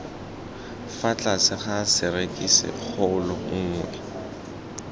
fa tlase ga serisikgolo nngwe